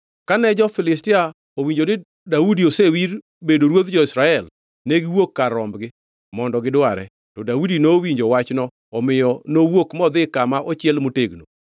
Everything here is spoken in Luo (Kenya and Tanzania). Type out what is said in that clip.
Kane jo-Filistia owinjo ni Daudi osewir bedo ruodh jo-Israel, negiwuok kar rombgi, mondo gidware, to Daudi nowinjo wachno omiyo nowuok modhi kama ochiel motegno.